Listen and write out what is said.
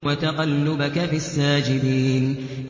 وَتَقَلُّبَكَ فِي السَّاجِدِينَ